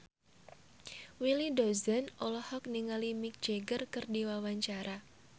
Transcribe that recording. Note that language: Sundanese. Willy Dozan olohok ningali Mick Jagger keur diwawancara